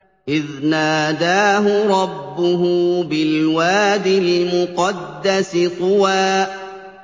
إِذْ نَادَاهُ رَبُّهُ بِالْوَادِ الْمُقَدَّسِ طُوًى